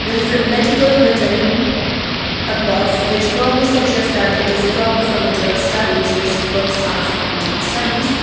this is a medical written above which probably suggest that it is probably for medical studies these books are for medical studies.